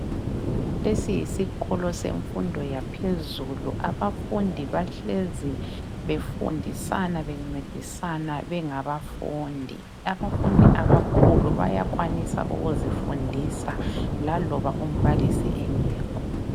Lesi yisikolo semfundo yaphezulu. Abafundi bahlezi befundisana bencedisana bengabafundi. abafundi abakhulu bayakwanisa ukuzifundisa laloba umbalisi engekho.